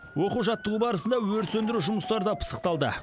оқу жаттығу барысында өрт сөндіру жұмыстары да пысықталды